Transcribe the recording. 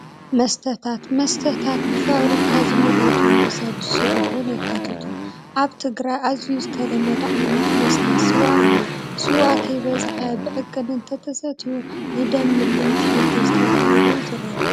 መስተታት፡- መስተታት ብፋብሪካ ዝምረቱን ብሰብ ዝስርሑን የካትቱ፡፡ ኣብ ትግራይ ኣዝዩ ዝተለመደ ዓይነት መስተ ስዋ እዩ፡፡ ስዋ ከይበዝሐ ብዕቅን እንተተሰትዩ ንደም ምልኢት ይሕግዝ ተባሂሉ ይዝረብ፡፡